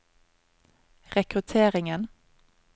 rekrutteringen